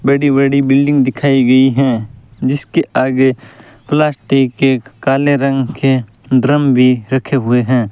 बड़ी बड़ी बिल्डिंग दिखाई गई हैं जिसके आगे प्लास्टिक के काले रंग के ड्रम भी रखे हुए हैं।